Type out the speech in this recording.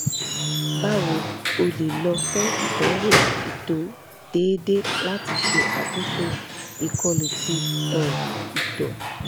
bawo o le lọ fun idanwo ito deede lati ṣe akoso ikolu ti um ito